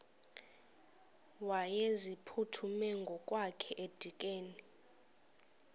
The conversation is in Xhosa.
wayeziphuthume ngokwakhe edikeni